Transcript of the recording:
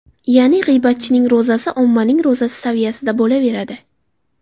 Ya’ni g‘iybatchining ro‘zasi ommaning ro‘zasi saviyasida bo‘laveradi.